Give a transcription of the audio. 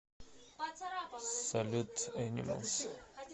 салют энималс